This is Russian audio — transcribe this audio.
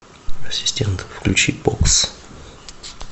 ассистент включи бокс